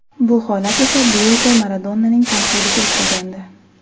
Bu holat esa Diyego Maradonaning tanqidiga uchragandi.